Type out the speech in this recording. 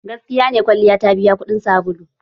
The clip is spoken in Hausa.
Gaskiya ne kwalliya ta biya kuɗin sabulu?